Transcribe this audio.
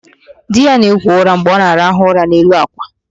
Di ya na-agwọ ụra mgbe ọ na-araha ụra n'elu àkwà